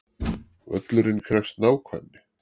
Völlurinn krefst nákvæmni